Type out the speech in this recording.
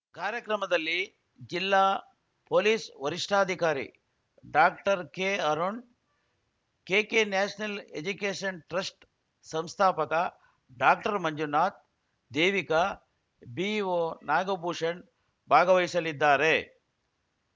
ಕಾರ್ಯಕ್ರಮದಲ್ಲಿ ಜಿಲ್ಲಾ ಪೊಲೀಸ್‌ ವರಿಷ್ಠಾಧಿಕಾರಿ ಡಾಕ್ಟರ್ ಕೆಅರುಣ್‌ ಕೆಕೆನ್ಯಾಷನಲ್‌ ಎಜ್ಯುಕೇಷನ್‌ ಟ್ರಸ್ಟ್‌ ಸಂಸ್ಥಾಪಕ ಡಾಕ್ಟರ್ ಮಂಜುನಾಥ್‌ ದೇವಿಕಾ ಬಿಒ ನಾಗಭೂಷಣ್‌ ಭಾಗವಹಿಸಲಿದ್ದಾರೆ